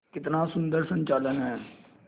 कितना सुंदर संचालन है